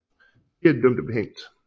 Fire af de dømte blev hængt